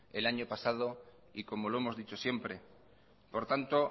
el año pasado y como lo hemos dicho siempre por tanto